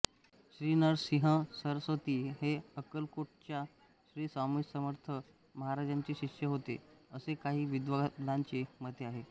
श्रीनरसिंहसरस्वती हे अक्कलकोटच्या श्रीस्वामीसमर्थ महाराजांचे शिष्य होते असे काही विद्वानांचे मत आहे